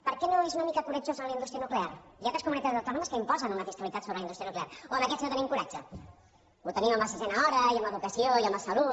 per què no és una mica coratjós amb la indústria nuclear hi ha altres comunitats autònomes que imposen una fiscalitat sobre la indústria nuclear o amb aquests no tenim coratge ho tenim en la sisena hora i amb l’educació i amb la salut